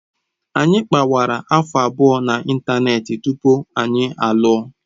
Anyị kpawara afọ abụọ na ịntanetị tupu anyị alụọ.